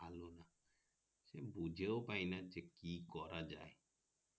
ভালো না সে বুঝেই পাইনা যে কি করা যাই